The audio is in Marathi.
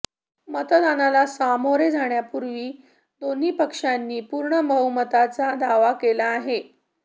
मतदानाला सामोरे जाण्यापूर्वी दोन्ही पक्षांनी पूर्ण बहुमताचा दावा केला आहे